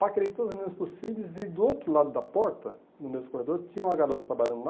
Paquerei todas as meninas possíveis, e do outro lado da porta, no mesmo corredor, tinha uma garota trabalhando lá,